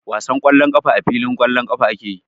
Wasan ƙwallon ƙafa a filin ƙwallon ƙafa ake yi.